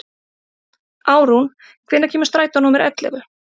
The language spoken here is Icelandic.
Árún, hvenær kemur strætó númer ellefu?